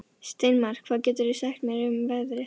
Steinmar, hvað geturðu sagt mér um veðrið?